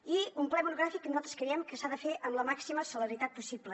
i un ple monogràfic que nosaltres creiem que s’ha de fer amb la màxima celeritat possible